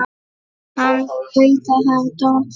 Hann hlaut að hafa dottað.